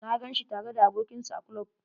Na gan shi tare da abokin sa a klub.